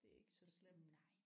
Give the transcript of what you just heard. Det er ikke så slemt